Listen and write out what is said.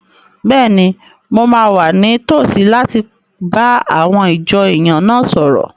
Bẹ́ẹ̀ni, mo máa wà ní tòsí láti bá àwọn ìjọ èèyàn náà sọ̀rọ̀